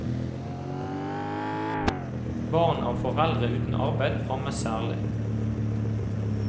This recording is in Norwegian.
Barn av foreldre uten arbeid rammes særlig.